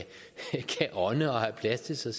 ånde og have plads til sig